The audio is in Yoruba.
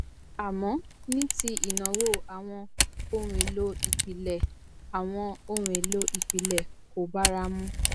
àmọ́ ní ti ìnáwó àwọn ohunèlòìpìlẹ àwọn ohun èlò ìpìlẹ̀ kò bára mu